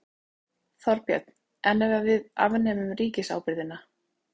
Þorbjörn: En ef við afnemum ríkisábyrgðina?